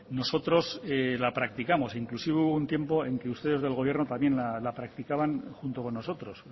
nosotros la practicamos inclusive hubo un tiempo en que ustedes desde el gobierno también la practicaban junto con nosotros